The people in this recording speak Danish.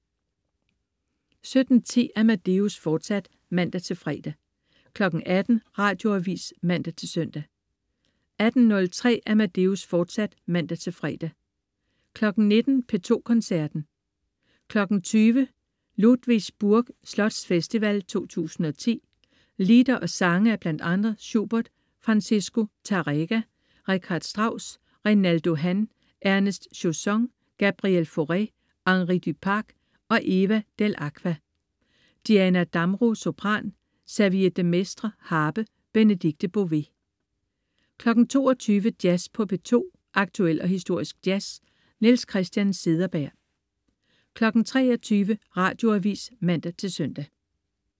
17.10 Amadeus, fortsat (man-fre) 18.00 Radioavis (man-søn) 18.03 Amadeus, fortsat (man-fre) 19.00 P2 Koncerten. 20.00 Ludwigsburg Slotsfestival 2010. Lieder og sange af bl.a. Schubert, Francisco Tárrega, Richard Strauss, Reynaldo Han, Ernest Chausson, Gabriel Fauré, Henri Duparc og Eva Dell'Acqua. Diana Damrau, sopran. Xavier de Maistre, harpe. Benedikte Bové 22.00 Jazz på P2. Aktuel og historisk jazz. Niels Christian Cederberg 23.00 Radioavis (man-søn)